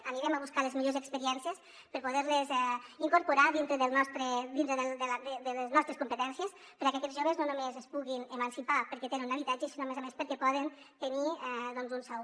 anirem a buscar les millors experiències per poder·les incor·porar dintre de les nostres competències perquè aquests joves no només es puguin emancipar perquè tenen un habitatge sinó a més a més perquè poden tenir un sou